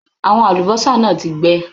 Àwọn àlùbọ́sà náà ti gbẹ.